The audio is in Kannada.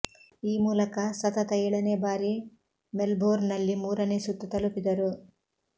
ಈ ಮೂಲಕ ಸತತ ಏಳನೆ ಬಾರಿ ಮೆಲ್ಬೋರ್ನ್ನಲ್ಲಿ ಮೂರನೆ ಸುತ್ತು ತಲುಪಿದರು